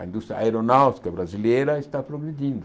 A indústria aeronáutica brasileira está progredindo.